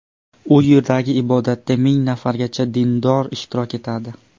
U yerdagi ibodatda ming nafargacha dindor ishtirok etadi.